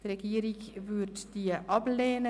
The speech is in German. Die Regierung würde sie ablehnen.